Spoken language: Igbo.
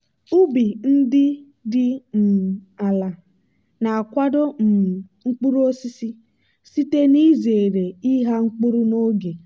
ubi ndị dị um ala na-akwado um mkpuru osisi site n'izere ịgha mkpụrụ n'oge.